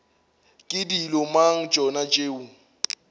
ke dilo mang tšona tšeo